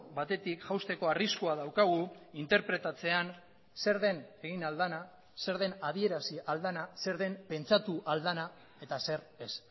batetik jausteko arriskua daukagu interpretatzean zer den egin ahal dena zer den adierazi ahal dena zer den pentsatu ahal dena eta zer ez